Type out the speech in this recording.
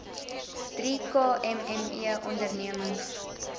drie kmme ondernemings